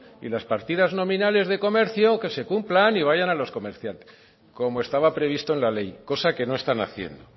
y las partidas nominales de comercio que se cumplan y que vayan a los comerciantes como estaba previsto en la ley cosa que no están haciendo